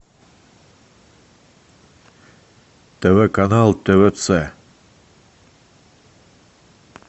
тв канал твц